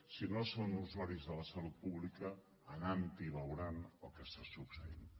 si no són usuaris de la salut pública anant hi veuran el que està succeint